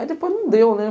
Aí depois não deu, né?